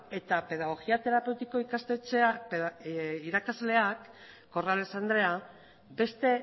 eta pedagogia terapeutiko ikastetxeko irakasleak corrales andrea beste